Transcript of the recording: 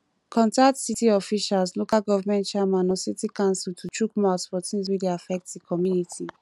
contact city officials local government chairman or city council to chook mouth for things wey dey affect di community